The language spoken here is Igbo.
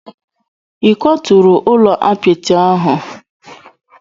Ị kwaturu ụlọ apịtị ahụ?